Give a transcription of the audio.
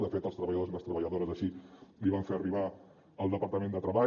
de fet els treballadores i les treballadores així l’hi van fer arribar al departament de treball